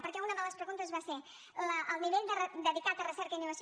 perquè una de les preguntes va ser del nivell dedicat a recerca i innovació